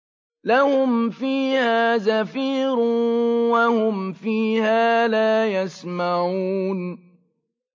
لَهُمْ فِيهَا زَفِيرٌ وَهُمْ فِيهَا لَا يَسْمَعُونَ